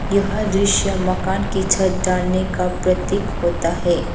यह दृश्य मकान की छत डालने का प्रतीक होता है।